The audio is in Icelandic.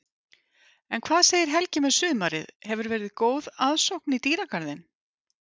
En hvað segir Helgi með sumarið, hefur verið góð aðsókn í dýragarðinn?